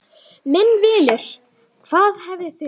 Minn vinur, hvað hefði þurft?